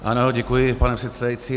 Ano, děkuji, pane předsedající.